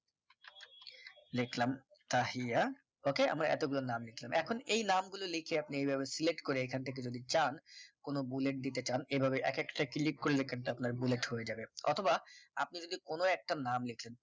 দেখলাম তাহিয়া okay আমরা এতগুলো নাম লিখলাম এখন এই নাম গুলো লিখে আপনি এভাবে select করে এখান থেকে যদি চান কোন bullet দিতে চান এভাবে এক একটা click করলে কিন্তু bullet হয়ে যাবে অথবা আপনি যদি কোন একটা নাম লিখেন